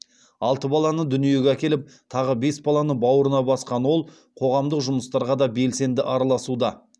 алты баланы дүниеге әкеліп тағы бес баланы бауырына басқан ол қоғамдық жұмыстарға да белсенді араласуда